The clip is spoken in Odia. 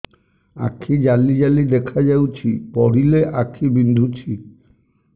ଆଖି ଜାଲି ଜାଲି ଦେଖାଯାଉଛି ପଢିଲେ ଆଖି ବିନ୍ଧୁଛି